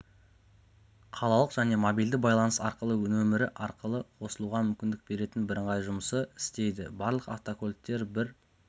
қалалық және мобильді байланыс арқылы нөмірі арқылы қосылуға мүмкіндік беретін бірыңғай жұмсы істейді барлық автокөліктер бір